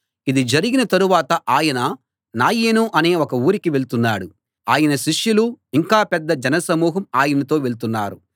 ఇది జరిగిన తరువాత ఆయన నాయీను అనే ఒక ఊరికి వెళ్తున్నాడు ఆయన శిష్యులు ఇంకా పెద్ద జనసమూహం ఆయనతో వెళ్తున్నారు